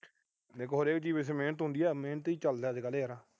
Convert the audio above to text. ਦੇਖੋ ਹਰੇਕ ਚੀਜ ਵਿਚ ਮਿਹਨਤ ਹੁੰਦੀ ਆ। ਮਿਹਨਤ ਈ ਚੱਲਦਾ ਅੱਜ ਕੱਲ੍ਹ ਯਾਰ।